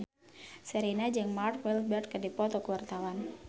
Sherina jeung Mark Walberg keur dipoto ku wartawan